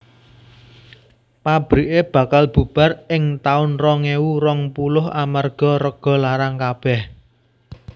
Pabrike bakal bubar ing taun rong ewu rong puluh amarga rego larang kabeh